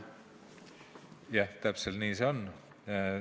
Jah, täpselt nii see on.